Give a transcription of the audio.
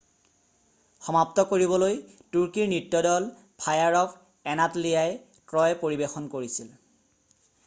"সমাপ্ত কৰিবলৈ তুৰ্কীৰ নৃত্য দল ফায়াৰ অফ এনাটলিয়াই "ট্ৰয়" পৰিবেশন কৰিছিল।""